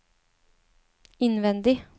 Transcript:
innvendig